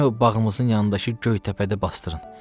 məni o bağımızın yanındakı Göytəpədə basdırın.